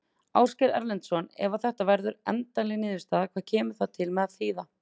Ásgeir Erlendsson: Ef að þetta verður endanleg niðurstaða, hvað kemur það til með að þýða?